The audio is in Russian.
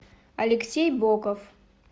алексей боков